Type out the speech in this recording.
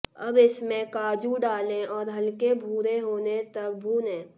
अब इस में काजू डालें और हल्के भूरे होने तक भूनें